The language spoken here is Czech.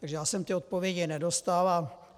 Takže já jsem ty odpovědi nedostal.